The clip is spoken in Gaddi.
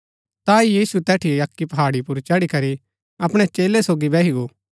ता यीशु तैठी अक्की पहाड़ी पुर चड़ी करी अपणै चेलै सोगी बैही गो